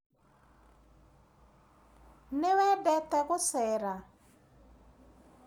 Nĩ wendete gũcera?